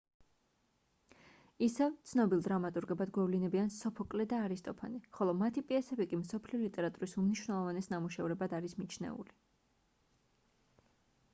ისევ ცნობილ დრამატურგებად გვევლინებიან სოფოკლე და არისტოფანე ხოლო მათი პიესები კი მსოფლიო ლიტერატურის უმნიშვნელოვანეს ნამუშევრებად არის მიჩნეული